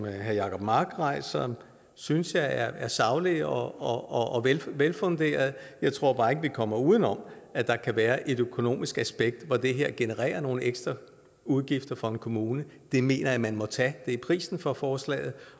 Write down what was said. herre jacob mark rejser synes jeg er saglige og velfunderede jeg tror bare ikke at vi kommer uden om at der kan være et økonomisk aspekt i at det her genererer nogle ekstra udgifter for en kommune det mener jeg man må tage det er prisen for forslaget